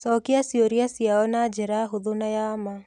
Cookia ciũria ciao na njĩra hũthũ na ya ma.